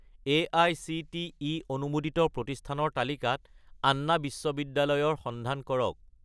AICTE অনুমোদিত প্ৰতিষ্ঠানৰ তালিকাত আন্না বিশ্ববিদ্যালয় ৰ সন্ধান কৰক